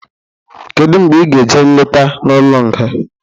Kedụ mgbe ị ga-eje nleta n'ụlọ nga?